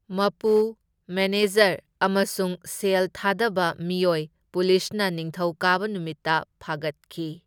ꯃꯄꯨ, ꯃꯦꯅꯦꯖꯔ ꯑꯃꯁꯨꯡ ꯁꯦꯜ ꯊꯥꯗꯕ ꯃꯤꯑꯣꯢ ꯄꯨꯂꯤꯁꯅ ꯅꯤꯡꯊꯧꯀꯥꯕ ꯅꯨꯃꯤꯠꯇ ꯐꯥꯒꯠꯈꯤ꯫